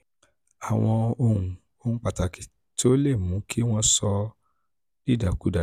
àwọn ohun pàtàkì tó lè mú kí wọ́n sọ ọ́ dìdàkudà ni: